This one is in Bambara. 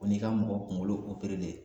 Ko n'i ka mɔgɔ kungolo operelen